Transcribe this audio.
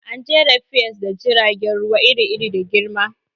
An jera piers da jiragen ruwa iri-iri da girma.